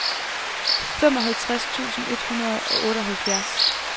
femoghalvtreds tusind et hundrede og otteoghalvfjerds